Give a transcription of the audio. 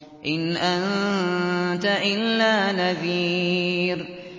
إِنْ أَنتَ إِلَّا نَذِيرٌ